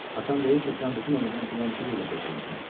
Atan deyir ki, sən bütün ömrünü dilənçiliklə keçirmisən.